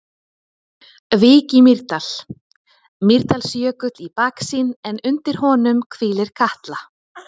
Vík í Mýrdal, Mýrdalsjökull í baksýn en undir honum hvílir Katla.